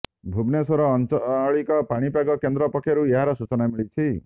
ଭୁବନେଶ୍ୱର ଆଞ୍ଚଳିକ ପାଣିପାଗ କେନ୍ଦ୍ର ପକ୍ଷରୁ ଏହାର ସୂଚନା ମିଳିଛି